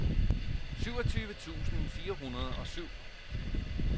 syvogtyve tusind fire hundrede og syv